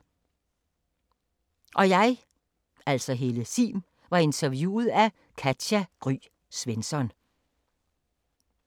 Interview: Katja Gry Svensson